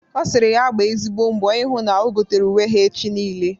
Ọ sịrị ya gba ezigbo mbọ ịhụ na o gotere uwe ha echi niile.